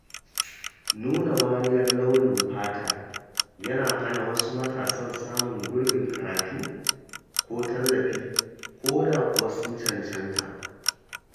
Nuna wariyar launin fata yana hana wasu matasan samun gurbin karatu ko tallafi, ko da kuwa sun cancanta.